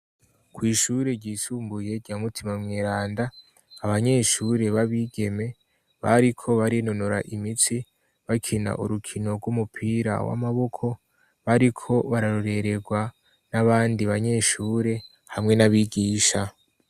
kw'ishure ryisumbuye rya mutima mweranda abanyeshure babigeme bariko barinonora imitsi bakina urukino rw'umupira w'amaboko bariko bararorererwa n'abandi banyeshure hamwe n'abigisha